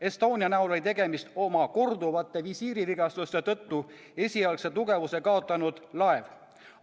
Estonia oli korduvate visiirivigastuste tõttu esialgse tugevuse kaotanud laev.